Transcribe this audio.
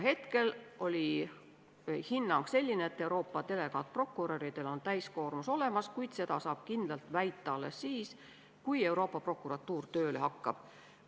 Hetkel oli hinnang selline, et Euroopa delegaatprokuröridel on täiskoormus, kuid seda saab kindlalt väita alles siis, kui Euroopa Prokuratuur tööle hakkab.